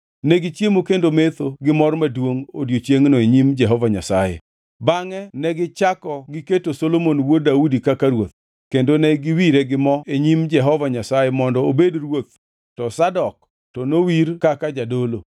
Negichiemo kendo metho gimor maduongʼ odiechiengno e nyim Jehova Nyasaye. Bangʼe negichako giketo Solomon wuod Daudi kaka ruoth, kendo ne giwire gi mo e nyim Jehova Nyasaye mondo obed ruoth, to Zadok, to nowir kaka jadolo.